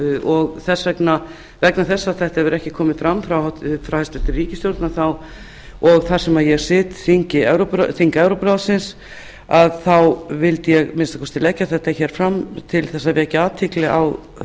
og vegna þess að þetta mál hefur ekki komið fram frá hæstvirtri ríkisstjórn og þar sem ég sit þing evrópuráðsins vildi að minnsta kosti leggja það fram til að vekja athygli á